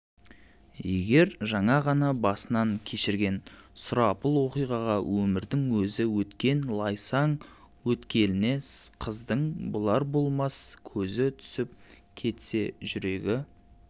егер жаңа ғана басынан кешірген сұрапыл оқиғаға өмірдің өзі өткен лайсаң өткеліне қыздың болар-болмас көзі түсіп кетсе жүрегі